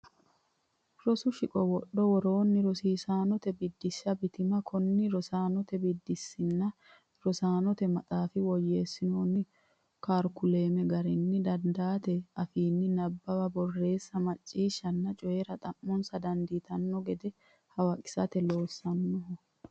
Rosu Shiqo Wodhi woronna Rosiisaanote Biddissa Bitima Kuni rosiisaannte biddissinnna rosaanote maxaafi woyyeessinoonni karikulame garinni dadhitino afiinni nabbawa borreessa macciishshanna coyi ra xomoosse dandiitanno gede hawaqisate loonsoonniho.